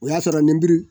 O y'a sɔrɔ nɛmuru